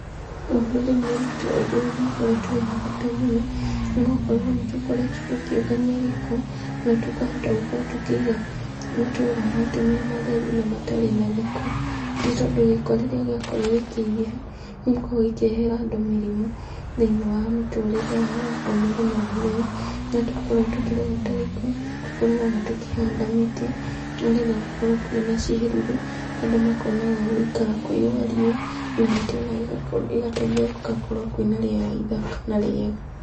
Rũrĩrĩ-inĩ rwitũ ũndũ ũyũ nĩ ũkoretwo wĩna bata mũno, nĩgũkorwo nĩ tũkoretwo tũkĩũngania gĩko, na tũkahota gũkorwo tũkĩiga matũũra maitũ me matheru na matarĩ na gĩko, nĩ tondũ gĩko rĩrĩa gĩakorwo gĩkĩingĩha, nĩ gĩkoragwo gĩkĩrehera andũ mĩrimũ thĩinĩ wa mĩtũrĩre yao ya o mũthenya o mũthenya, rĩrĩa twakorwo tũkĩrogota gĩko, tũkoragwo ona tũkĩhanda mĩtĩ, nĩgetha gũkorwo kwĩna ciĩruru, andũ makona gwa gũikara kũigwa riũa, na mĩtĩ ona ĩgateithia gũgakorwo kwĩna rĩera ithaka na rĩega.